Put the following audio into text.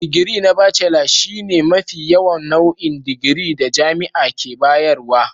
Digiri na Bacela shine mafi yawan nau'in digiri da jami'a ke bayarwa.